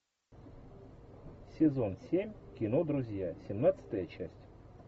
сезон семь кино друзья семнадцатая часть